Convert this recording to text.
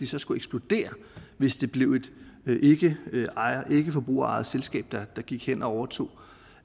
så skulle eksplodere hvis det blev et ikkeforbrugerejet selskab der gik hen og overtog